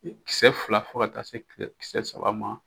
Kisɛ fila fo ka taa se kisɛ saba ma.